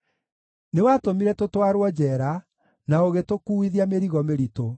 Nĩwatũmire tũtwarwo njeera na ũgĩtũkuuithia mĩrigo mĩritũ.